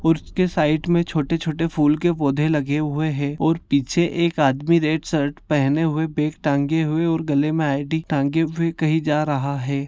और उसके साइड में छोटे-छोटे फूल के पौधे लगे हुए है और पीछे एक आदमी रेड शर्ट पहने हुए बैग टाँग हुए और गले में आई.डी. टाँगे हुए कही जा रहा है।